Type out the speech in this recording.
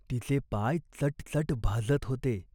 सासूबाई अलीकडे फार बोलत नसत. जणू त्यांनी मौन धरले.